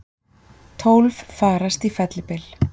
Tólf farast í fellibyl